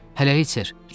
Hələlik, ser.